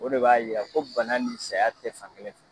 O de b'a jira ko bana ni saya tɛ fankelen fɛ